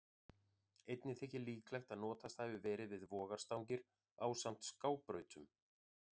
Einnig þykir líklegt að notast hafi verið við vogarstangir ásamt skábrautunum.